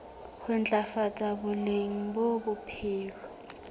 ho ntlafatsa boleng ba bophelo